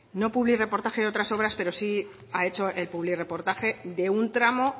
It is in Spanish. no por el publirreportaje de otras obras pero sí ha hecho publirreportaje de un tramo